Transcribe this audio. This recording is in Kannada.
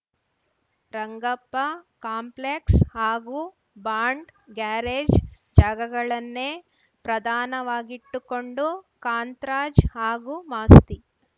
ರಂಗಪ್ಪ ಕಾಂಪ್ಲೆಕ್ಸ್‌ ಹಾಗೂ ಬಾಂಡ್‌ ಗ್ಯಾರೇಜ್‌ ಜಾಗಗಳನ್ನೇ ಪ್ರಧಾನವಾಗಿಟ್ಟುಕೊಂಡು ಕಾಂತ್‌ರಾಜ್‌ ಹಾಗೂ ಮಾಸ್ತಿ